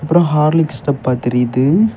அப்புறம் ஹார்லிக்ஸ் டப்பா தெரியுது.